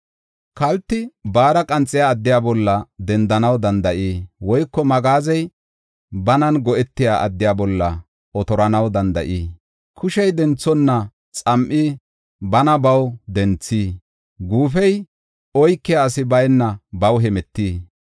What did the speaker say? Kalti baara qanxiya addiya bolla dendanaw danda7ii? Woyko magaazey banan go7etiya addiya bolla otoranaw danda7ii? Kushey denthonna xam7i bana baw denthii? Guufey oykiya asi bayna baw hemetii?